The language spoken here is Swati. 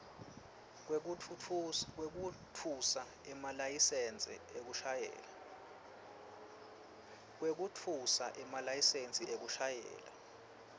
kwekutfutsa emalayisensi ekushayela